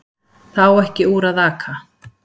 Það á ekki úr að aka